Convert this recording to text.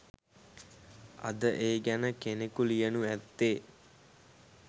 අද ඒ ගැන කෙනෙකු ලියනු ඇත්තේ